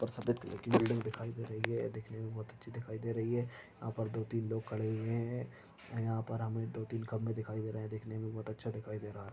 और सफ़ेद कलर की बिल्डिंग दिखाई दे रही है। ये देखने में बहोत अच्छी दिखाई दे रही है। यहाँ पर दो तीन लोग खड़े हुई हैं और यहाँ पर हमें दो तीन कमरे दिखाई दे रहे हैं। देखने में बहुत अच्छा दिखाई दे रहा है।